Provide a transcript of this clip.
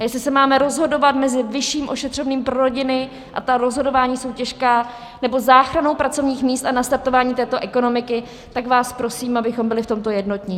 A jestli se máme rozhodovat mezi vyšším ošetřovným pro rodiny - a ta rozhodování jsou těžká - nebo záchranou pracovních míst a nastartováním této ekonomiky, tak vás prosím, abychom byli v tomto jednotní.